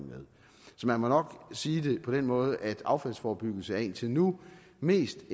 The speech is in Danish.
så man må nok sige det på den måde at affaldsforebyggelse indtil nu mest